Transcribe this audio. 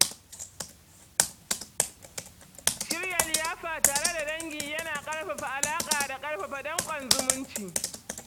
Shirya liyafa tare da dangi yana ƙarfafa alaƙa da ƙarfafa danƙon zumunci.